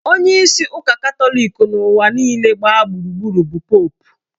Onyeisi ụka Katọlik n'ụwa niile gbaa gburugburu bụ Popu